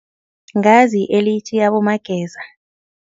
Ngazi elithi abomageza.